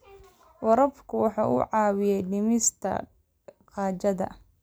Waraabku waxa uu caawiyaa dhimista gaajada.